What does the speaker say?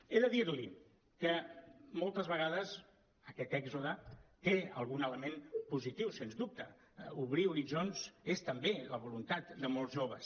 he de dir li que moltes vegades aquest èxode té algun element positiu sens dubte obrir horitzons és també la voluntat de molts joves